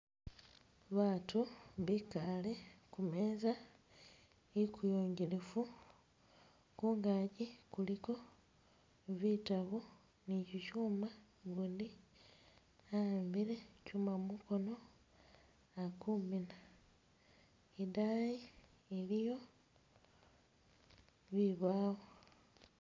Baatu bikale kumeeza ikuyungilifu kungagi kuliko bitabu ni kyikyuuma gundi ahambile kyuuma mukono ali kumina idayi iliyo bibyalo.